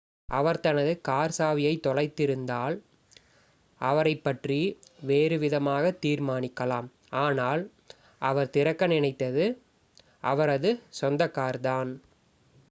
அவர் தனது கார் சாவியைத் தொலைத்திருந்தால் அவரைப் பற்றி வேறு விதமாகத் தீர்மானிக்கலாம் ஆனால் அவர் திறக்க நினைத்தது அவரது சொந்த கார்தான்